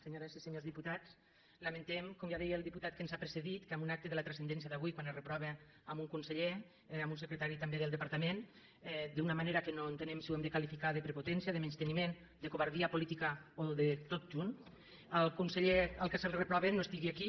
senyores i senyors diputats lamentem com ja deia el diputat que ens ha precedit que en un acte de la transcendència d’avui quan es reprova un conseller un secretari també del departament d’una manera que no entenem si ho hem de qualificar de prepotència de menysteniment de covardia política o de tot junt el conseller al qual es reprova no sigui aquí